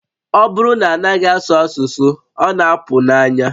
Ọ bụrụ na a naghị asụ asụsụ, ọ na-apụ n'anya